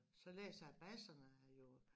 Så læser jeg Basserne jo